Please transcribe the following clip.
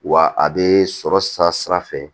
Wa a bɛ sɔrɔ sira fɛ